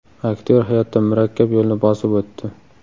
Aktyor hayotda murakkab yo‘lni bosib o‘tdi.